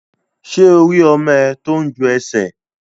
Ṣé o rí ọmọ ẹ tó ń ju ẹsẹ̀?